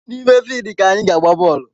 N’ime fidi ka anyị ga-agba bọọlụ